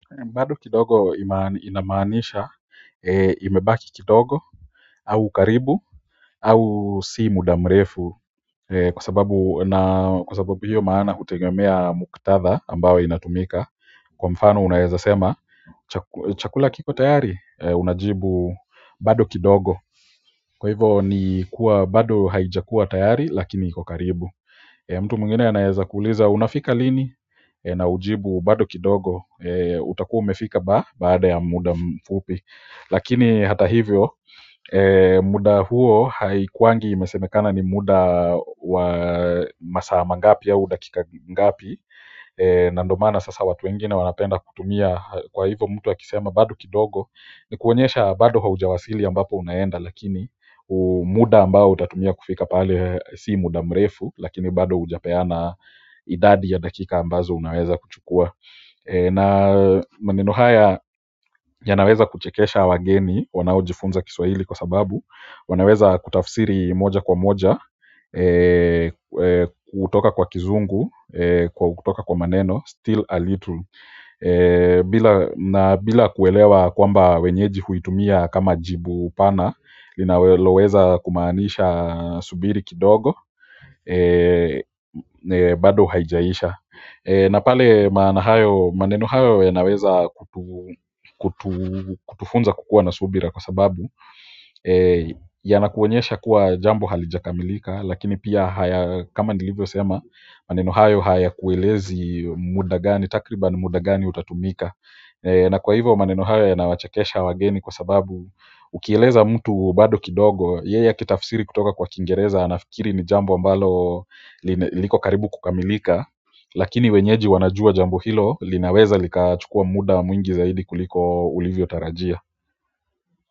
Bado kidogo inamaanisha imebaki kidogo au karibu au si muda mrefu kwa sababu hiyo maana hutegemea muktadha ambao inatumika kwa mfano unaeza sema chakula kiko tayari unajibu bado kidogo kwa hivo ni kuwa bado haijakuwa tayari lakini iko karibu mtu mwingine anaeza kuuliza unafika lini na ujibu bado kidogo utakuwa umefika baada ya muda mfupi lakini hata hivyo muda huo haikuwangi imesemekana ni muda wa masaa mangapi au dakika ngapi na ndo maana sasa watu wengine wanapenda kutumia kwa hivyo mtu akisema bado kidogo ni kuonyesha bado haujawasili ambapo unaenda lakini muda ambao utatumia kufika pale si muda mrefu lakini bado hujapeana idadi ya dakika ambazo unaweza kuchukua na maneno haya yanaweza kuchekesha wageni wanaojifunza kiswahili kwa sababu wanaweza kutafsiri moja kwa moja kutoka kwa kizungu, kutoka kwa maneno, still a little bila na bila kuelewa kwamba wenyeji huitumia kama jibu pana linaloweza kumaanisha subiri kidogo bado haijaisha na pale maana hayo maneno hayo yanaweza kutufunza kukuwa na subira kwa sababu yanakuonyesha kuwa jambo halijakamilika lakini pia haya kama nilivyosema maneno hayo hayakuelezi muda gani takribani muda gani utatumika na kwa hivo maneno hayo yanawachakesha wageni kwa sababu ukieleza mtu bado kidogo, yeye akitafsiri kutoka kwa kingereza anafikiri ni jambo ambalo liko karibu kukamilika lakini wenyeji wanajua jambo hilo linaweza likachukua muda mwingi zaidi kuliko ulivyotarajia.